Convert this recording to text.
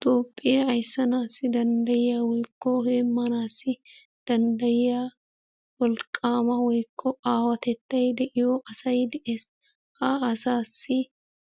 Toophphoya ayissanaassi danddayiya woyikko heemmanaassi danddayiya wolqqaama woyikko aawatettay de'iyo asay de'es. Ha asaassi